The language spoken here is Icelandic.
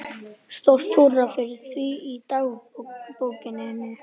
Stórt húrra fyrir því í dagbókinni.